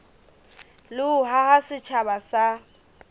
le ho haha setjhaba sa